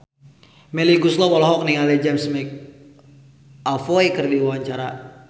Melly Goeslaw olohok ningali James McAvoy keur diwawancara